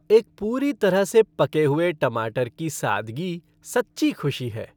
एक पूरी तरह से पके हुए टमाटर की सादगी सच्ची खुशी है।